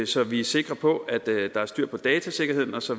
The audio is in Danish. så vi er sikre på at der er styr på datasikkerheden og så